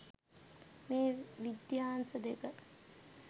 මේ විද්‍යාංශ දෙක